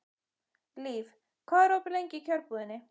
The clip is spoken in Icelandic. Líf, hvað er opið lengi í Kjörbúðinni?